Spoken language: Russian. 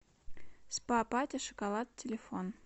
спа пати шоколад телефон